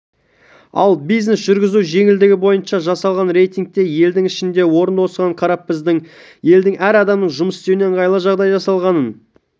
ал бизнес жүргізу жеңілдігі бойынша жасалған рейтингте елдің ішінде орында осыған қарап біздің елде әр адамның жұмыс істеуіне ыңғайлы жағдай жасалғанын